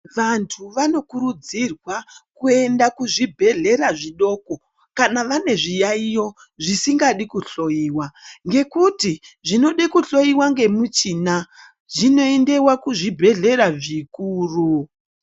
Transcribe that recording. Vantu vanokurudzirwa kuenda kuzvibhedhlera zvidoko, kana zviyaiyo zvisingadi kuhloiwa ngekuti zvinode kuhloiwa ngemichina zvinoendewa kuzvibhedhlera zvikuru.